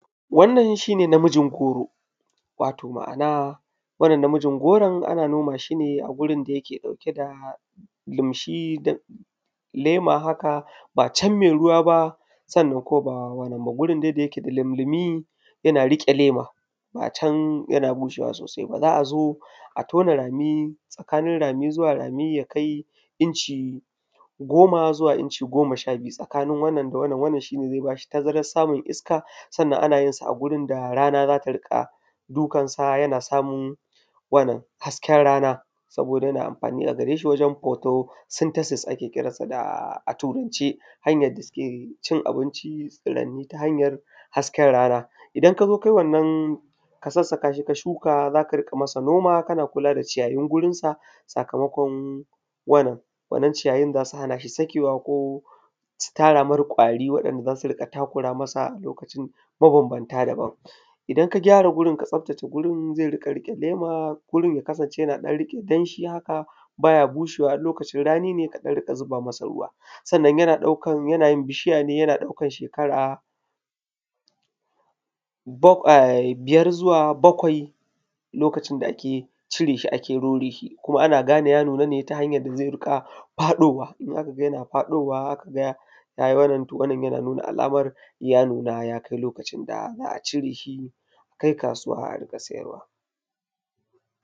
Wannan shi ne namijin goro. Wato ma'ana wannan namijin goron ana noma shi ne a gurin da yake ɗauke da lumshi da lema haka, ba can mai ruwa ba, sannan kuma ba wannan ba. Gurin dai da yake lumlumi yana riƙe lema ba can yana bushewa sosai ba. Za'a zo a tauna rami tsakanin rami zuwa rami ya kai inci goma, zuwa inci gom sha biyu tsakanin wannan da wannan. Wannan shi ne zai ba shi tazarar samun iska, sannan ana yin shi a gurin da rana za ta riƙa dukansa, yana samun wannan haske rana. Saboda yana amfani a gare shi wajen photosynthesis ake kiransa da a turanci. Hanyar da suke cin abinci tsiranni ta hanyar hasken rana. Idan ka zo ka yi wannan ka sassaka shi ka shuka za ka riƙa yi masa noma kana kula da ciyayin gurinsa sakamakon wannan. Wannan ciyayin za su hana shi sakewa ko, su tara mai kwari waɗanda za su riƙa takura masa lokacin mabanbanta daban. Idan ka gyara gurin ka tsabtace gurin zai riƙa riƙe lema gurin ya kasance yana ɗan riƙe danshi haka ba ya bushewa, in lokacin rani ne ka riƙa ɗan zuba masa ruwa, sannan jana ɗaukan, yana yin bishiya ne yana ɗaukan shekara bakw ai biyar zuwa bakwai lokacin da ake tire shi ake rore shi. Kuma ana gane ya nuna ne ta hanyar da zai riƙa faɗowa in aka ga yana faɗowa aka ga ya yi ramran to wannan yana nuna alamar ja nuna ya kai lokacin da za'a cire shi a kai kasuwa a riƙa siyarwa.